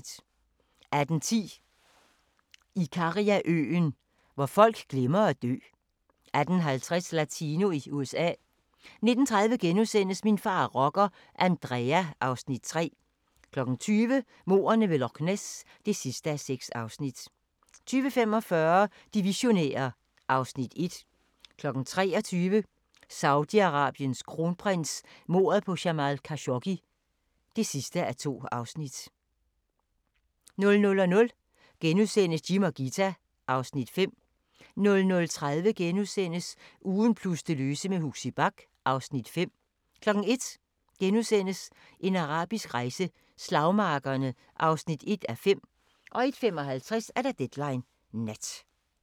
18:10: Ikariaøen – hvor folk glemmer at dø 18:50: Latino i USA 19:30: Min far er rocker – Andrea (Afs. 3)* 20:00: Mordene ved Loch Ness (6:6) 20:45: De visionære (Afs. 1) 23:00: Saudi-Arabiens kronprins: Mordet på Jamal Khashoggi (2:2) 00:00: Jim og Ghita (Afs. 5)* 00:30: Ugen plus det løse med Huxi Bach (Afs. 5)* 01:00: En arabisk rejse: Slagmarkerne (1:5)* 01:55: Deadline Nat